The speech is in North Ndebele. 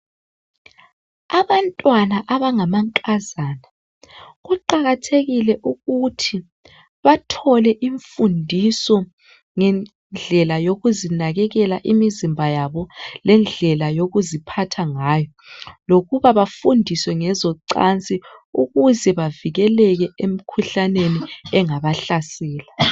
Abantwana abangamankazana kuqakathekile ukuthi bathole imfundiso ngendlela yokuzinakekela imizimba yabo lendlela yokuziphatha ngayo lokuba bafundiswe ngezocansi ukuze bavikeleke emkhuhlaneni engabahlasela.